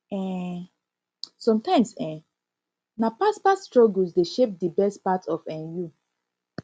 um somtimes eh um na past past struggles dey shape di best part of um you